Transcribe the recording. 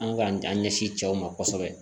An k'an ɲɛsin cɛw ma kosɛbɛ